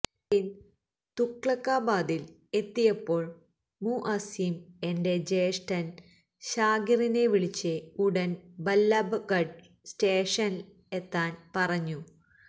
train തുഗ്ലക്കാബാദില് എത്തിയപ്പോള് മുഅസ്സിം എന്റെ ജ്യേഷ്ഠന് ശാകിറിനെ വിളിച്ച് ഉടന് ബല്ലബ്ഗഢ് സ്റ്റേഷനില് എത്താന് പറഞ്ഞു